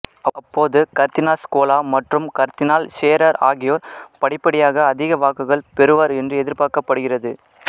அப்போது கர்தினால் ஸ்கோலா மற்றும் கர்தினால் ஷேரர் ஆகியோர் படிப்படியாக அதிக வாக்குகள் பெறுவர் என்று எதிர்பார்க்கப்படுகிறது